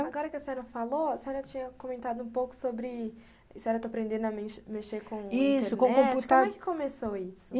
Agora que a senhora falou, a senhora tinha comentado um pouco sobre... a senhora está aprendendo a mexer mexer com internet, como é que começou isso?